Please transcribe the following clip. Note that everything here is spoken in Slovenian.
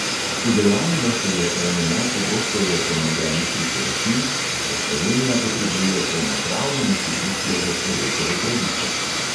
Udejanjilo se je eno najpogosteje ponovljenih priporočil, da slovenija potrebuje polnopravno institucijo za človekove pravice.